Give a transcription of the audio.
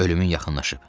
Ölümün yaxınlaşıb.